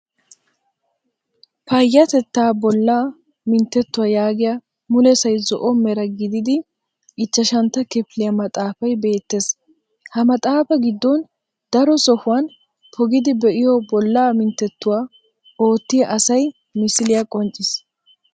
Payattettaa bollaa minttettuwaa yaagiya mulesay zo'o mera gididi ichchashantta kifiliya maxxaafay beettes. Ha maxxaafaa giddon daro sohuwan pogidi be'iyoo bollaa minttettuwaa oottiya asay misiliya qoncciis.